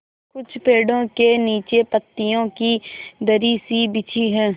कुछ पेड़ो के नीचे पतियो की दरी सी बिछी है